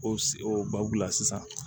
O o babu la sisan